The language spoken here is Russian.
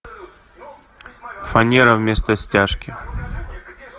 фанера вместо стяжки